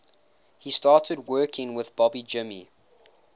he started working with bobby jimmy